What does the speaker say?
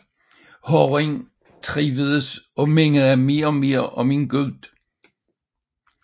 Drengen trivedes og mindede mere og mere om en gud